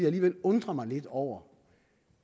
alligevel undre mig lidt over